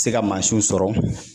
Se ka mansinw sɔrɔ